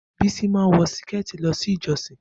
Bisi máa ń wọ Síkẹ̀tí lọ ilé ìjọ́sìn